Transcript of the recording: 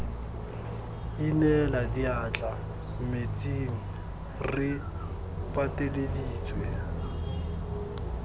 inela diatla metsing re pateleditswe